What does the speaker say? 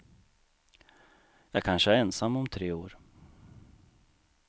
Jag kanske är ensam om tre år.